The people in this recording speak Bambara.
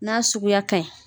N'a suguya ka ɲi.